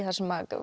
þar sem að